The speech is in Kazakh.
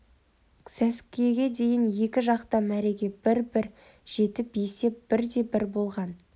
сәскеге дейін екі жақ та мәреге бір-бір жетіп есеп бір де бір болған